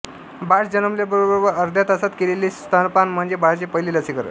बाळ जन्मल्याबरोबर अर्ध्या तासात केलेले स्तनपान म्हणजे बाळाचे पहिले लसीकरण